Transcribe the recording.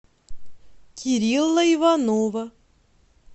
кирилла иванова